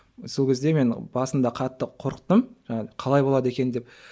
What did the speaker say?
сол кезде мен басында қатты қорықтым қалай болады екен деп